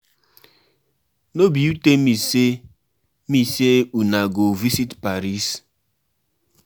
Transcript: No be you tell me say me say una go visit Paris